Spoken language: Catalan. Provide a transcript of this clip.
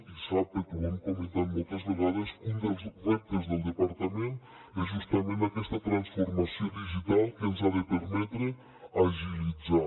i sap perquè ho hem comentat moltes vegades que un dels reptes del departament és justament aquesta transformació digital que ens ha de permetre agilitzar